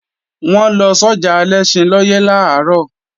Wọ́n lọ sọ́jà Alẹ́ṣinlọ́yẹ́ làárọ̀